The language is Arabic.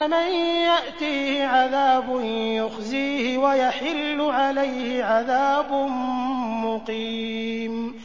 مَن يَأْتِيهِ عَذَابٌ يُخْزِيهِ وَيَحِلُّ عَلَيْهِ عَذَابٌ مُّقِيمٌ